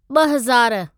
ॿ हज़ारु